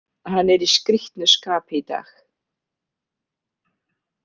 Hann er í skrítnu skapi í dag.